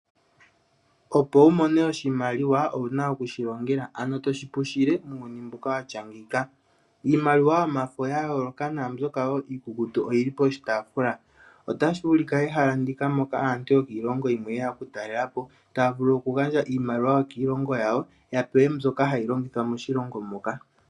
Opo wu mone oshimaliwa owuna okushilongela ano toshi pushile muuyuni mbuka watya ngeyika, Iimaliwa yomafo ya yooloka na mbyoka wo iikukutu oyili poshitaafula, otashi vulika ehala ndika aantu yokiilongo yimwe yeya oku talelapo taya vulu oku gandja iimaliwa yokiilongo yawo ya pewe mbyoka hayi longithwa moshilongo moka.